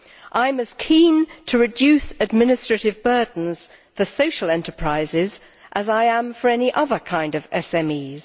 I am as keen to reduce administrative burdens for social enterprises as I am for any other kind of SMEs.